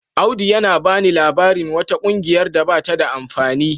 Audu yana bani labarin wata kungiyar da bata da wani amfani.